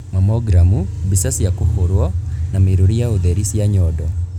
Mamogram :Mbica cia kũhũrwo na mĩrũri ya ũtheri cia nyondo.